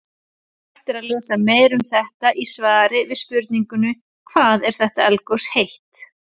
Hægt er að lesa meira um þetta í svari við spurningunni Hvað er eldgos heitt?